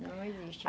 Não existe